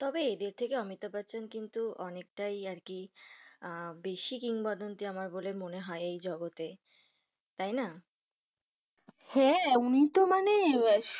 তবে এদের থেকে অমিতাভ বচ্চন কিন্তু অনেকটাই আর কি আঃ বেশি কিং বদন্তি বলে আমার মনে হয় এই জগতে, তাই না হ্যাঁ উনি তো মানে